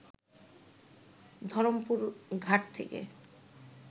ধরমপুর ঘাট থেকে